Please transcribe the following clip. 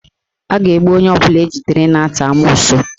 A ga-egbu onye ọbụla ejidere na-ata amoosu